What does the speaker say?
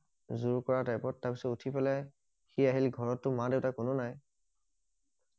যোৰ কৰা টাইপত তাৰ পিছত উঠি পেলাই সি আহিল ঘৰতটো মা দেউতা কোনো নাই